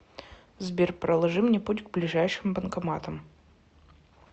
сбер проложи мне путь к ближайшим банкоматам